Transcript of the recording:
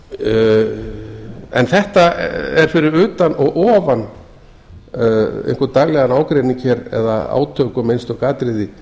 þetta er fyrir utan og ofan einhvern daglegan ágreining hér eða átök um einstök atriði